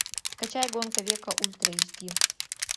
скачай гонка века ультра эйч ди